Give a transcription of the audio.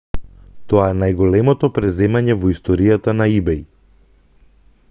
тоа е најголемото преземање во историјата на ибеј